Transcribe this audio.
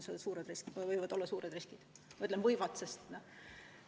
Ütlen "võivad", sest ma ei tea.